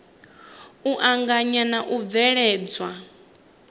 u anganya na u bveledzwa